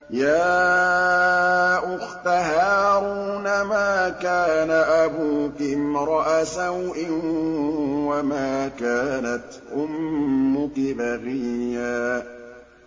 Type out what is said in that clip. يَا أُخْتَ هَارُونَ مَا كَانَ أَبُوكِ امْرَأَ سَوْءٍ وَمَا كَانَتْ أُمُّكِ بَغِيًّا